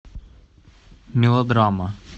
мелодрама